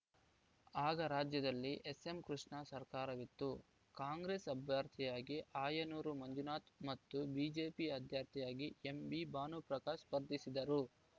ಆಗ ರಾಜ್ಯದಲ್ಲಿ ಎಸ್‌ಎಂ ಕೃಷ್ಣ ಸರ್ಕಾರವಿತ್ತು ಕಾಂಗ್ರೆಸ್‌ ಅಭ್ಯರ್ಥಿಯಾಗಿ ಆಯನೂರು ಮಂಜುನಾಥ್‌ ಮತ್ತು ಬಿಜೆಪಿ ಅಭ್ಯರ್ಥಿಯಾಗಿ ಎಂಬಿ ಭಾನುಪ್ರಕಾಶ ಸ್ಪರ್ಧಿಸಿದ್ದರು